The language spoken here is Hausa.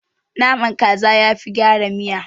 Naman kaza yafi gyara miya.